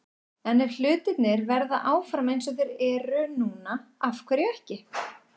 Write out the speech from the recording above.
En ef hlutirnir verða áfram eins og þeir eru núna- af hverju ekki?